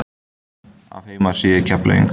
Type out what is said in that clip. Af heimasíðu Keflavíkur